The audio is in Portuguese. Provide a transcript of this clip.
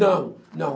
Não, não.